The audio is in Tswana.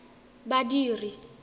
badiri